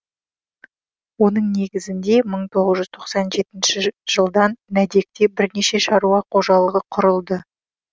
оның негізінде мың тоғыз жүз тоқсан жетінші жылдан нәдекте бірнеше шаруа қожалығы құрылды